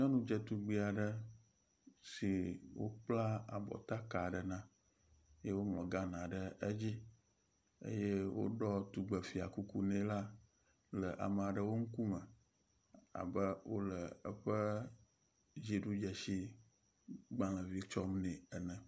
Nyɔnudzetugbi aɖe si wokpla abɔtaka aɖe na yewoŋlɔ Ghana ɖe edzi eye woɖɔ tugbefia kuku ne la le ame aɖewo ŋkume abe wo le eƒe dziɖudzesi gbalevi tsɔm nɛ ene.